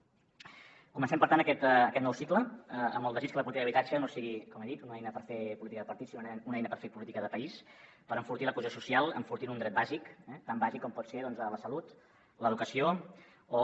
comencem per tant aquest nou cicle amb el desig que la política d’habitatge no sigui com he dit una eina per fer política de partits sinó una eina per fer política de país per enfortir la cohesió social enfortint un dret bàsic eh tan bàsic com ho poden ser doncs la salut l’educació o